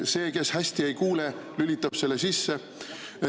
See, kes hästi ei kuule, lülitab selle sisse.